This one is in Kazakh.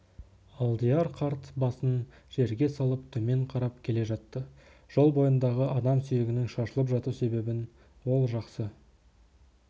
алдияр қарт басын жерге салып төмен қарап келе жатты жол бойындағы адам сүйегінің шашылып жату себебін ол жақсы